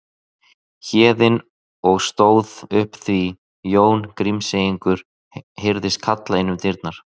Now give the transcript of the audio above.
Héðinn og stóð upp því Jón Grímseyingur heyrðist kalla inn um dyrnar